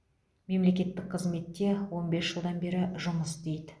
мемлекеттік қызметте он бес жылдан бері жұмыс істейді